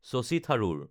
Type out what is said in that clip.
Shashi Tharoor